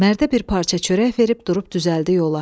Mərdə bir parça çörək verib durub düzəldi yola.